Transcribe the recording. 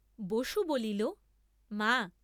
বসু বলিল মা!